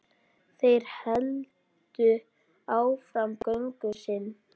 Þeir héldu áfram göngu sinni.